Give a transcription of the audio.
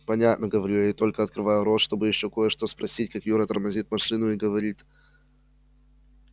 понятно говорю я и только открываю рот чтобы ещё кое-что спросить как юра тормозит машину и говорит